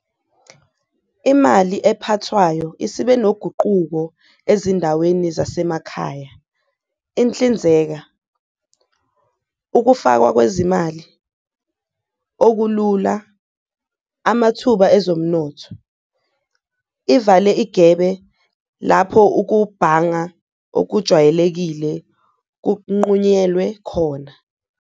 Imali ephathwayo isibe noguquko ezindaweni zasemakhaya, inhlinzeka, ukufakwa kwezimali okulula, amathuba ezomnotho ivale igebe lapho ukubhanga okujwayelekile kunqunywelwe khona.